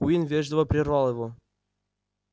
куинн вежливо прервал его